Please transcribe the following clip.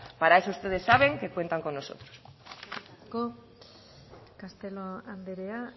para eso ustedes saben que cuentan con nosotros eskerrik asko castelo andrea